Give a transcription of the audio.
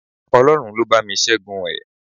Ọlọ́run ló bá mi Ṣẹ́gun ẹ̀